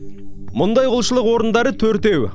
мұндай құлшылық орындары төртеу